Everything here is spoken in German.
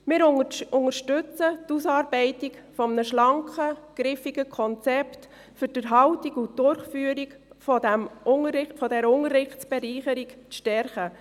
Wir unterstützen die Ausarbeitung eines schlanken, griffigen Konzepts, um Erhalt und Rückführung dieser Unterrichtsbereicherung zu stärken.